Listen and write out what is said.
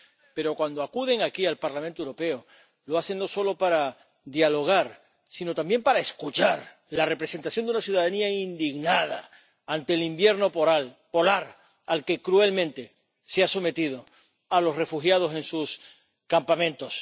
pero cuando acuden aquí al Parlamento Europeo lo hacen no solo para dialogar, sino también para escuchar a la representación de la ciudadanía, indignada ante el invierno polar al que cruelmente se ha sometido a los refugiados en sus campamentos.